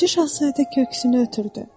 Balaca şahzadə köksünü ötürdü.